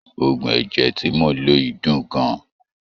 Oògùn ẹ̀jẹ̀ tí mò ḿ lò yìí dùn gan-an.